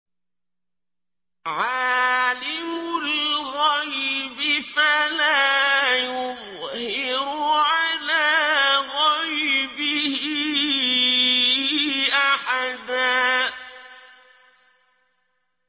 عَالِمُ الْغَيْبِ فَلَا يُظْهِرُ عَلَىٰ غَيْبِهِ أَحَدًا